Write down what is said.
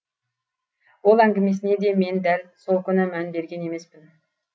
ол әңгімесіне де мен дәл сол күні мән берген емеспін